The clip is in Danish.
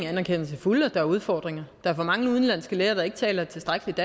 anerkender til fulde at der er udfordringer er for mange udenlandske læger der ikke taler tilstrækkeligt